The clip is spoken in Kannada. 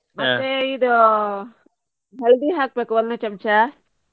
ಇದು हल्दी ಹಾಕ್ಬೇಕು ಒಂದು ಚಮಚ.